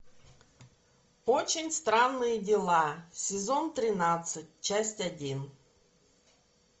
очень странные дела сезон тринадцать часть один